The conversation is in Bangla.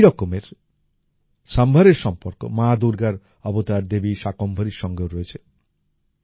এই রকমের sambharএর সম্পর্ক মা দূর্গার অবতার দেবী শাকম্ভরির সঙ্গেও রয়েছে